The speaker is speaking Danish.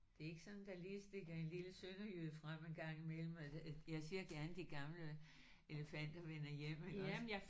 Det er ikke sådan der lille stikker en lille sønderjyde frem en gang imellem? Altså jeg ser gerne de gamle elefanter vender hjem iggås